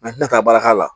N'a ti na taa baara k'a la